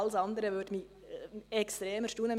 Alles andere würde mich extrem erstaunen.